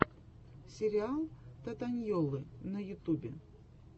сериал татаньйоллы на ютубе